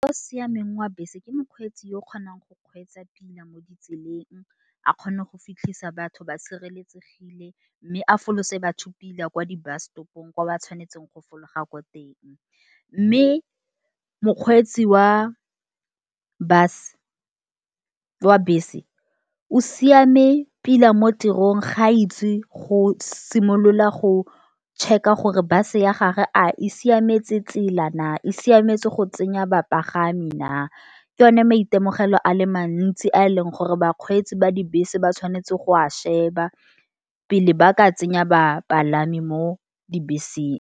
O siameng wa bese ke mokgweetsi yo o kgonang go kgweetsa pila mo ditseleng. A kgona go fitlhisa batho ba sireletsegile, mme a folose batho pila kwa di bus stopong, kwa ba tshwanetseng go folaga ko teng. Mme mokgweetsi wa bus wa bese o siame pila, mo tirong ga itsi go simolola go tšheka gore base ya gage a e siametse tsela na. E siametse go tsenya bapagami naa, ke yone maitemogelo a le mantsi a e leng gore bakgweetsi ba dibese ba tshwanetse go a sheba. Pele ba ka tsenya bapalami mo dibeseng.